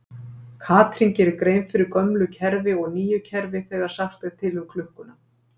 Katrín gerir grein fyrir gömlu kerfi og nýju kerfi þegar sagt er til um klukkuna.